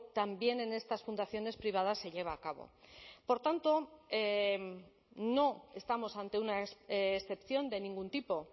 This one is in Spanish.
también en estas fundaciones privadas se lleva a cabo por tanto no estamos ante una excepción de ningún tipo